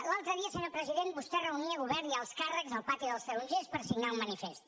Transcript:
l’altre dia senyor president vostè reunia govern i alts càrrecs al pati dels tarongers per signar un manifest